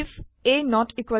ব এণ্ড ব